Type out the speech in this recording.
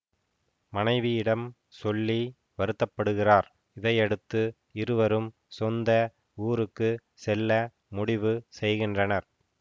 மனைவியிடம் சொல்லி வருத்த படுகிறார் இதையடுத்து இருவரும் சொந்த ஊருக்கு செல்ல முடிவு செய்கின்றனர்